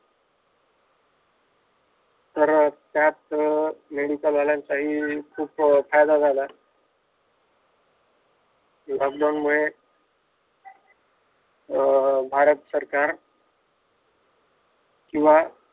तर त्यात मेडिकल वाल्यांचा हि खूप फायदा झाला. लॉकडाउन मुळे अं भारत सरकार अं